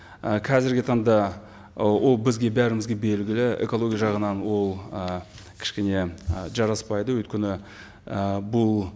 і қазіргі таңда ы ол бізге бәрімізге белгілі экология жағынан ол ы кішкене ы жараспайды өйткені і бұл